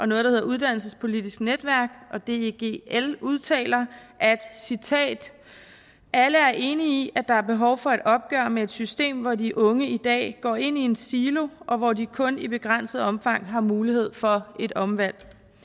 noget der hedder uddannelsespolitisk netværk og deg l udtaler at alle er enige i at der er behov for et opgør med et system hvor de unge i dag går ind i en silo og hvor de kun i begrænset omfang har mulighed for et omvalg